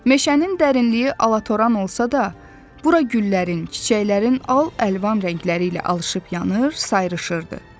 Meşənin dərinliyi alatoran olsa da, bura güllərin, çiçəklərin al-əlvann rəngləri ilə alışıp yanır, sayrışırdı.